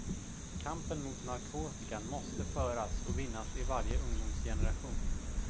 Kampen mot narkotikan måste föras och vinnas i varje ungdomsgeneration.